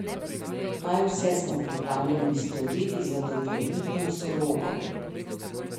Kaj vse smo pripravljeni storiti za dobrobit nosorogov?